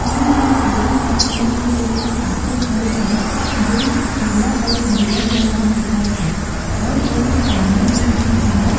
हमन दिखत हवे एमे एक ठो ऑटो खड़े हे जे पीला और हरियर रंग मा दिखत हे और एमे आदमी मन भी हवय।